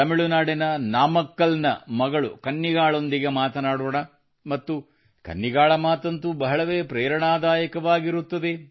ತಮಿಳುನಾಡಿನ ನಾಮಕ್ಕಲ್ ನ ಮಗಳು ಕನ್ನಿಗಾಳೊಂದಿಗೆ ಮಾತನಾಡೋಣ ಮತ್ತು ಕನ್ನಿಗಾಳ ಮಾತಂತೂ ಬಹಳವೇ ಪ್ರೇರಣಾದಾಯಕವಾಗಿರುತ್ತದೆ